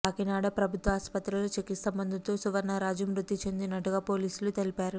కాకినాడ ప్రభుత్వాసుపత్రిలో చికిత్స పొందుతూ సువర్ణరాజు మృతి చెందినట్టుగా పోలీసులు తెలిపారు